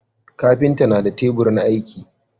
kafinta na da tebur na aiki